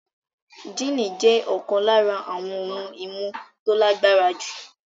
Jíìnì jẹ́ ọ̀kan lára àwọn ohun-ìmu tó lágbára jù.